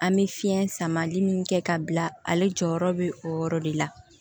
An bɛ fiɲɛ samali min kɛ ka bila ale jɔyɔrɔ bɛ o yɔrɔ de la